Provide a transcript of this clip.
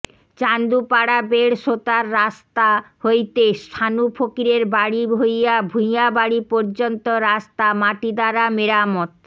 চান্দুপাড়াবেড় সোতার রাসত্মা হইতে সানু ফকিরের বাড়ী হইয়া ভুইয়া বাড়ী পর্যমত্ম রাসত্মা মাটি দ্বারা মেরামত